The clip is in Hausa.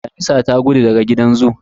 Damisa ta gudu daga gidan zoo